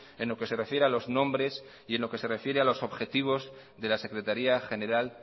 en lo que se refiere a los nombres y en lo que se refiere a los objetivos de la secretaría general